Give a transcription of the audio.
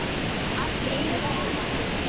Allt í einu sagði hann: